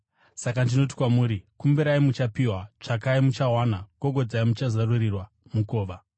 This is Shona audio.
“Saka ndinoti kwamuri: Kumbirai, muchapiwa, tsvakai, muchawana; gogodzai, muchazarurirwa mukova.